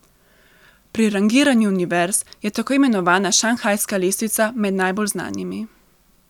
Pri rangiranju univerz je tako imenovana šanghajska lestvica med najbolj znanimi.